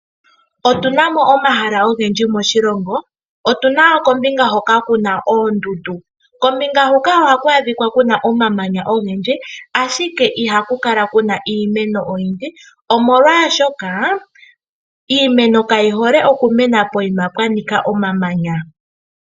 Otu na mo omahala ogendji moshilongo. Otu na kombinga hoka tuna oondundu . Kombinga huka ohaku adhikwa kuna omamanya ogendji , ashike ihaku kala kuna iimeno oyindji omolwaashoka iimeno kayi hole okumena pokuma pwanika omamanya.